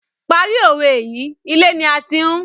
Parí owé yìí, ilé ni a ti ń........